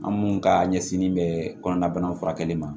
An minnu ka ɲɛsin bɛ kɔnɔna banaw furakɛli ma